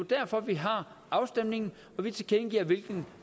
derfor vi har afstemningen og vi tilkendegiver hvilken